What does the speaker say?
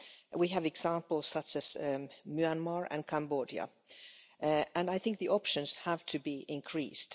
We have examples such as Myanmar and Cambodia and I think the options have to be increased.